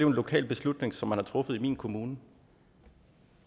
en lokal beslutning som man har truffet i min kommune